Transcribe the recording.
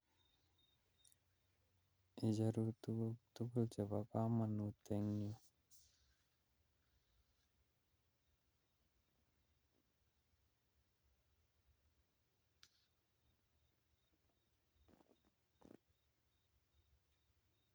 Icherun tuguk tugul chebo komonut en yu.